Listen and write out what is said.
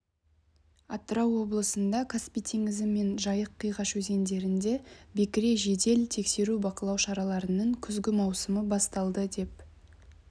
атырау облысында каспий теңізі мен жайық қиғаш өзендерінде бекіре жедел тексеру-бақылау шараларының күзгі маусымы басталды деп